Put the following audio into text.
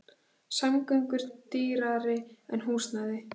Samgöngur dýrari en húsnæði